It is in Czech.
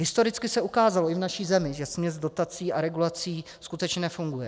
Historicky se ukázalo i v naší zemi, že směs dotací a regulací skutečně nefunguje.